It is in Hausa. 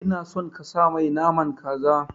Ina son kasa mai naman kaza